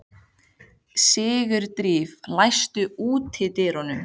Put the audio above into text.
Sigurdríf, læstu útidyrunum.